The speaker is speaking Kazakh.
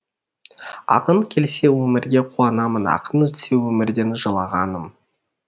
ақын келсе өмірге қуанамын ақын өтсе өмірден жылағаным